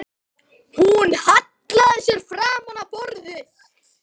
Hún hallaði sér fram á borðið.